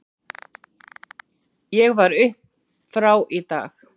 Ég var upp frá í dag.